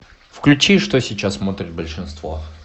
включи что сейчас смотрит большинство